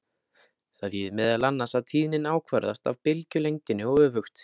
Það þýðir meðal annars að tíðnin ákvarðast af bylgjulengdinni og öfugt.